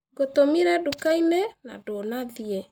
Ngũtũmire nduka-inĩ na ndũnathiĩ.